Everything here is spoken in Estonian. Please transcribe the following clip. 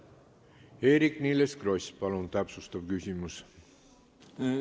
Eerik-Niiles Kross, palun täpsustav küsimus!